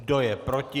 Kdo je proti?